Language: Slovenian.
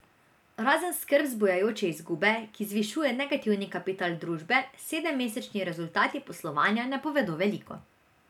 Razen skrb zbujajoče izgube, ki zvišuje negativni kapital družbe, sedemmesečni rezultati poslovanja ne povedo veliko.